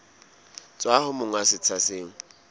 tswa ho monga setsha seo